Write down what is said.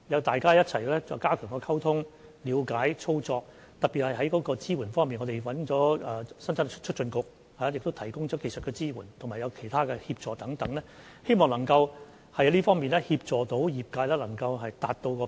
大家需要一起加強溝通、了解和操作，特別是在支援方面，我們邀請了香港生產力促進局提供技術支援及其他協助等，希望能夠在這方面協助業界達標。